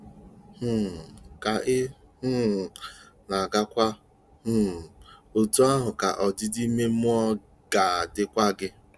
um Ka ị um na-agakwu, um otú ahụ ka ọdịdị ime mmụọ ga-adịkwu gị.